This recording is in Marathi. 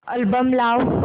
अल्बम लाव